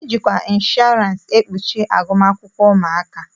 E jikwa inshọransi e kpuchi agụmakwụkwọ ụmụaka.